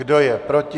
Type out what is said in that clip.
Kdo je proti?